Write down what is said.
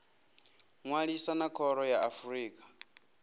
ṅwalisa na khoro ya afrika